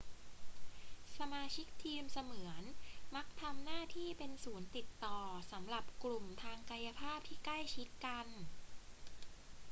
สมาชิกทีมเสมือนมักทำหน้าที่เป็นศูนย์ติดต่อสำหรับกลุ่มทางกายภาพที่ใกล้ชิดกัน